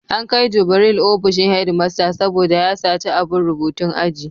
An kai Jubril ofishin headmaster saboda ya saci abun rubutun aji.